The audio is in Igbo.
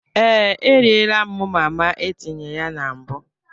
Ee, eriela m mama etinye ya na mbụ.